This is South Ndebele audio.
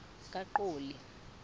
kaqoli